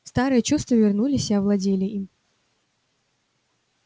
старые чувства вернулись и овладели им